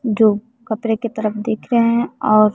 जो कपरे के तरफ देख रहे हैं और--